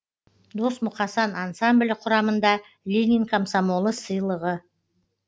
дос мұқасан ансамблі құрамында ленин комсомолы сыйл